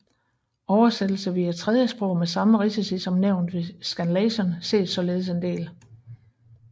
Oversættelse via tredjesprog med samme risici som nævnt ved scanlation ses således en del